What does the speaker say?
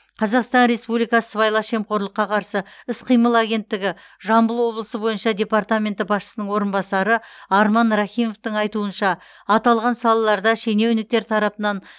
қазақстан республикасы сыбайлас жемқорлыққа қарсы іс қимыл агенттігі жамбыл облысы бойынша департаменті басшысының орынбасары арман рахимовтың айтуынша аталған салаларда шенеуніктер тарапынан